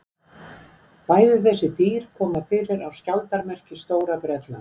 Bæði þessi dýr koma fyrir á skjaldarmerki Stóra-Bretlands.